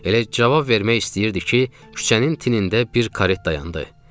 Elə cavab vermək istəyirdi ki, küçənin tinində bir karet dayandı.